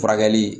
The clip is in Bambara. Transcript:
Furakɛli